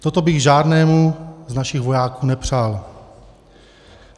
Toto bych žádnému z našich vojáků nepřál.